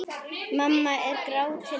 Mamma er gráti nær.